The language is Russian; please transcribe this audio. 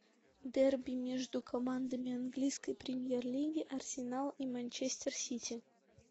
дерби между командами английской премьер лиги арсенал и манчестер сити